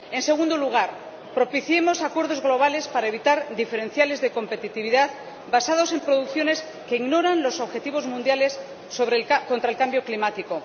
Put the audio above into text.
En segundo lugar, propiciemos acuerdos globales para evitar diferenciales de competitividad basados en producciones que ignoran los objetivos mundiales contra el cambio climático.